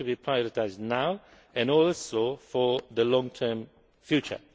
They need to be prioritised now and also for the long term future.